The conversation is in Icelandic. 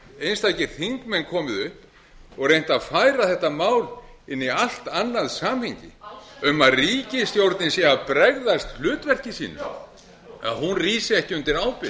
einstakir þingmenn komið upp og reynt að færa þetta mál inn í allt annað samhengi um að ríkisstjórnin sé að bregðast hlutverki sínu já hún rísi ekki undir ábyrgð